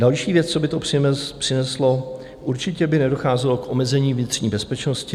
Další věc, co by to přineslo: určitě by nedocházelo k omezení vnitřní bezpečnosti.